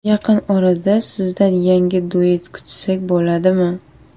Yaqin orada sizdan yangi duet kutsak bo‘ladimi?